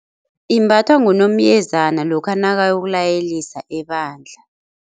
Imbathwa ngunomyezana lokha nakayokulayelisa ebandla.